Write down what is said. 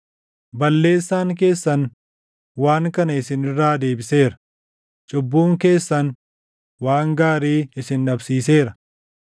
Balleessaan keessan waan kana isin irraa deebiseera; cubbuun keessan waan gaarii isin dhabsiiseera.